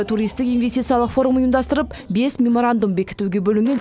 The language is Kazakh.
соның бірі туристік инвестициялық форум ұйымдастырып бес меморандум бекітуге бөлінген